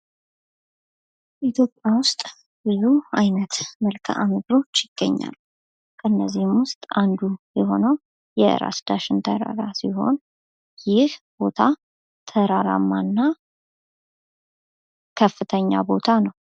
ኢትዮጵያ ውስጥ ብዙ አይነት መልካም ምድሮች ይገኛሉ ከእነዚህም ውስጥ አንዱ የሆነው ራስ ዳሸን ተራራ ሲሆን ይህ ቦታ ተራራማ እና ከፍተኛ ቦታ ነው::